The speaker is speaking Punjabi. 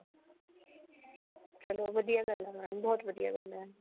ਚਲੋ ਵਧੀਆ ਗੱਲਾ ਹੈ mam ਬਹੁਤ ਵਧੀਆ ਗੱਲ ਹੈ